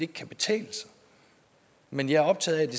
kan betale sig men jeg er optaget af